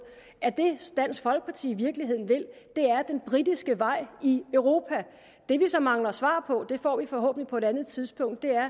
at det dansk folkeparti i virkeligheden vil er den britiske vej i europa det vi så mangler svar på det får vi forhåbentlig på et andet tidspunkt er